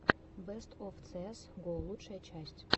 бест оф цеэс го лучшая часть